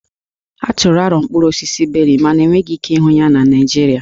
A tụrụ aro mkpụrụ osisi Beri mana enweghị ike ịhụ ya na Naịjirịa